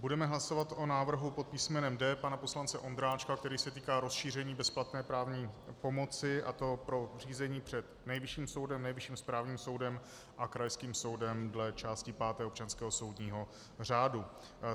Budeme hlasovat o návrhu pod písmenem D pana poslance Ondráčka, který se týká rozšíření bezplatné právní pomoci, a to pro řízení před Nejvyšším soudem, Nejvyšším správním soudem a krajským soudem dle části páté občanského soudního řádu.